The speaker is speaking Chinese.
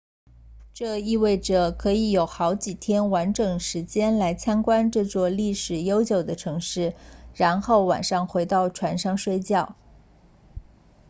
这意味着可以有好几天完整时间来参观这座历史悠久的城市然后晚上回到船上睡觉